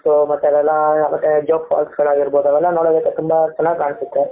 ಮತ್ತೆ ಜನ ಜೋಕ್ ಫಾಲ್ಸ್ಗಳಾಗಿರಬಹುದು ಅವೆಲ್ಲ ನೋಡೋದಕ್ಕೆ ತುಂಬಾ ಚೆನ್ನಾಗಿ ಕಾಣುತ್ತೆ.